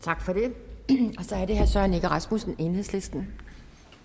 tak for det så er det herre søren egge rasmussen enhedslisten